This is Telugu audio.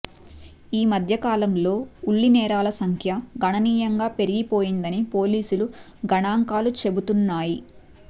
ఈ మద్య కాలంలో ఉల్లి నేరాల సంఖ్య గణనీయంగా పెరిగిపోయిందని పోలీసుల గణాంకాలు చెబుతున్నాయి